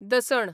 दसण